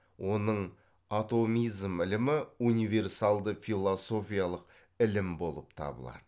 оның атомизм ілімі универсалды философиялық ілім болып табылады